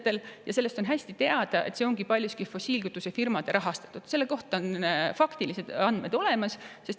On teada, et on paljuski fossiilkütusefirmade rahastatud, selle kohta on faktilised andmed olemas.